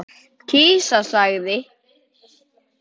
Kisa sagði